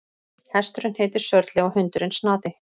Hesturinn heitir Sörli og hundurinn Snati.